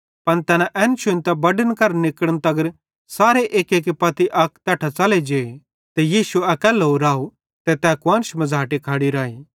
पन तैना एना शुन्तां बड्डन करां निकड़न तगर सारे एक्की पत्ती अक तैट्ठां च़ले जे ते यीशु अकैल्लो राव ते तै कुआन्श मझ़ाटे खड़ी राई